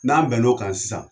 N'an bɛn n'a kan sisan